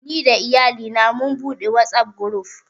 Ni da Iyalina mun buɗe Whatsapp guruf